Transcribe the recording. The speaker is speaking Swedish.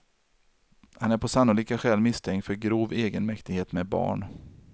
Han är på sannolika skäl misstänkt för grov egenmäktighet med barn.